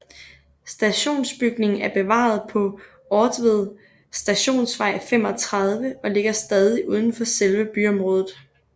Stationsbygningen er bevaret på Ortved Stationsvej 35 og ligger stadig uden for selve byområdet